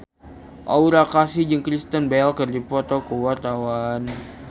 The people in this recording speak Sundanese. Aura Kasih jeung Kristen Bell keur dipoto ku wartawan